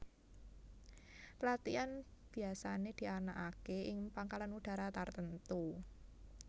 Pelatihan biasane dianakake ing Pangkalan Udara tartemtu